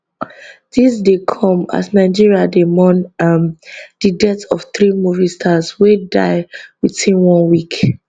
dis dey come as nigeria dey mourn um di death of three movie stars wey die within one week